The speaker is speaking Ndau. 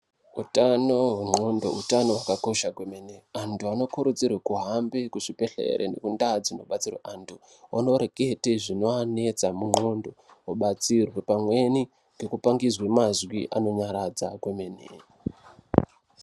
Utano hwendxondo utano hwakakosha kwemene. Antu anokurudzirwa kuhambe kuzvibhedhlere ngendau dzinodetserwe antu. Vonorekete zvinoaanetsa mundxondo obatsirwa pamwnei anopangidzwe mazwi anonyaradza kwemene.